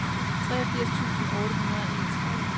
treogfirs tusind otte hundrede og enogtredive